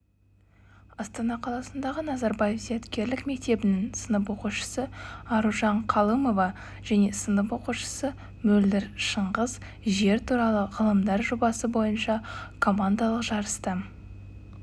астана қаласындағы назарбаев зияткерлік мектебінің сынып оқушысы аружан қалымова және сынып оқушысы мөлдір шыңғыс жер туралы ғылымдар жобасы бойынша командалық жарыста